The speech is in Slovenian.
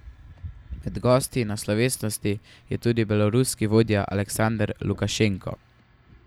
Med gosti na slovesnosti je tudi beloruski vodja Aleksander Lukašenko.